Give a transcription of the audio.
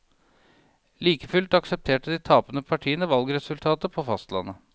Likefullt aksepterte de tapende partiene valgresultatet på fastlandet.